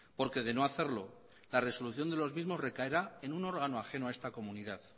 porque de no hacerlo la resolución de los mismos recaerá en un órgano ajeno a esta comunidad